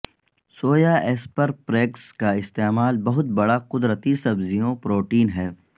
سویا asparagus کا استعمال بہت بڑا قدرتی سبزیوں پروٹین ہے